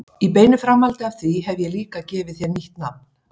Í beinu framhaldi af því hef ég líka gefið þér nýtt nafn.